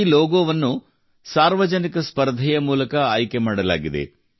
ಈ ಲೋಗೋವನ್ನು ಸಾರ್ವಜನಿಕ ಸ್ಪರ್ಧೆಯ ಮೂಲಕ ಆಯ್ಕೆ ಮಾಡಲಾಗಿದೆ